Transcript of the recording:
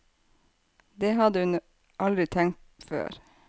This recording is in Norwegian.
Det hadde hun aldri tenkt før.